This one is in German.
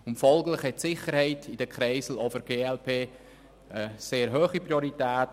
Folglich hat die Sicherheit in den Kreiseln auch für die glp eine sehr hohe Priorität.